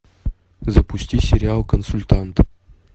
запусти сериал консультант